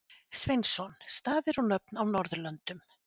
Sveinsson: Staðir og nöfn á Norðurlöndum.